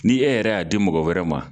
Ni e yɛrɛ y'a di mɔgɔ wɛrɛ ma.